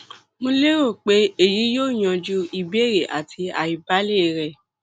mo lérò pé èyí yóò yanjú ìbéèrè àti àìbalẹ rẹ